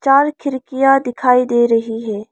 चार खिड़कियां दिखाई दे रही है।